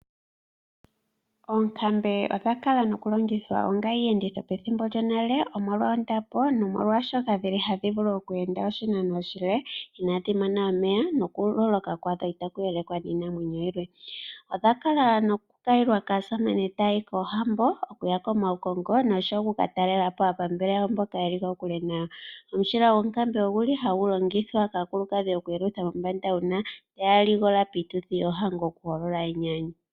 Oonkambe odha kala noku longithwa onga iiyenditho pethimbo lyonale omolwa ondapo nomolwa dhili hadhi vulu oku enda oshinano oshile inadhi mona omeya noku loloka kwadho itaku elekwa niinamwenyo yilwe. Odha kala noku kayilwa kaasamane taya yi kohambo okuya komaukongo nokuka talelapo aapambele mboka yeli kokule nayo. Omushila gwonkambe oguli hagu longithwa kaakulukadhi oku yelutha mombanda uuna yaligola piituthi yoohango oku ulika enyanyu.